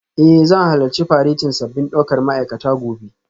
Eh zan halarci faretin sabbin daukar ma'aikata gobe